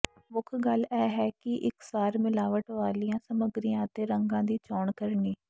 ਮੁੱਖ ਗੱਲ ਇਹ ਹੈ ਕਿ ਇਕਸਾਰ ਮਿਲਾਵਟ ਵਾਲੀਆਂ ਸਮੱਗਰੀਆਂ ਅਤੇ ਰੰਗਾਂ ਦੀ ਚੋਣ ਕਰਨੀ